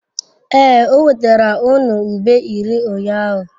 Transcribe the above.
Ee, o wetara unu ube iri ụnyahụ.